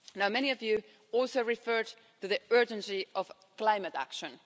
Many of you also referred to the urgency of climate action.